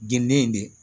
Geni in de